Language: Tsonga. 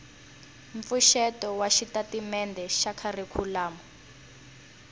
mpfuxeto wa xitatimendhe xa kharikhulamu